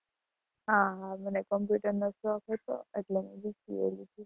હા હા મને computer નો શોખ હાતો એટલે મે BCA લીધું.